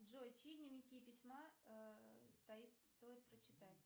джой чьи дневники письма стоит прочитать